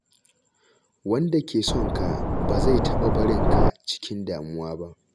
Wanda ke son ka ba zai taɓa barin ka cikin damuwa ba.